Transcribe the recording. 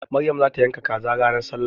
Maryam za ta yanka kaza ran sallah.